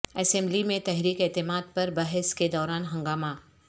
assembly میں تحریک اعتماد پر بحث کے دوران ہنگامہ